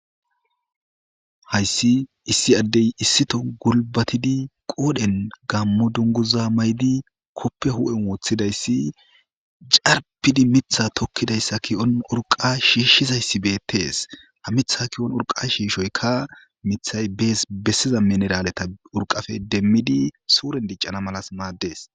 Hayssi issi addey issito gulbatidi qoodhen gammo dunguza maydi koppe hu'en wooththidayssi carpidi mitha tokkidayssa ki'on urqa shiishshizayssibetees ha mitha ki'on urqa shiishoyka mithay bees bessiza mineraaleta urqafe demmidi suuren diccana malas maaddees.